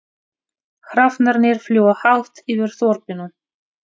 Hrafnarnir fljúga hátt yfir þorpinu.